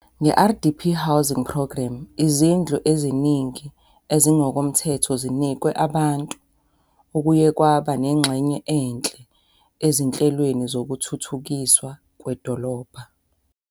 Nge-RDP Housing Programme, izindlu eziningi ezingokomthetho zinikezwe abantu, okuye kwaba nengxenye enhle ezinhle ezinhle ezinhlelweni zokuthuthukiswa kwedolobha.